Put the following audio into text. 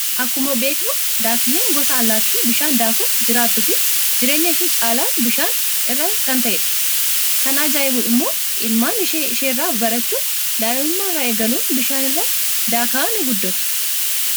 Akkuma beeknu daakkiyyeen gosa allaattii bishaan daakuun jiraattuu fi jireenyii ishee caalaan bishaan irra kan ta'edha. Kan ajaa'ibu immoo ilmaan ishee isheerraa barachuun daa'imummaa irraa eegaluun bishaanirra daakaa ni guddatu.